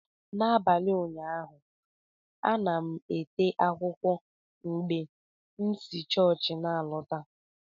N'abalị ụnyaahụ, a na-ete m akwụkwọ mgbe m si chọọchị na-alọta.